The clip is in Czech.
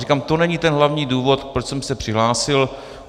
Ale to není ten hlavní důvod, proč jsem se přihlásil.